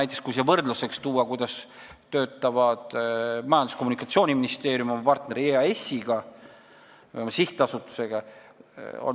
Toon siia võrdluseks selle, kuidas töötab näiteks Majandus- ja Kommunikatsiooniministeerium oma partneri EAS-iga, sihtasutusega.